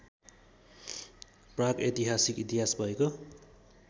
प्रागऐतिहासिक इतिहास भएको